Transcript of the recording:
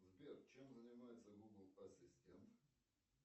сбер чем занимается гугл ассистент